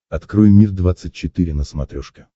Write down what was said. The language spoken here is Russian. открой мир двадцать четыре на смотрешке